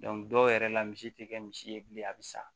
dɔw yɛrɛ la misi tɛ kɛ misi ye bilen a bɛ sa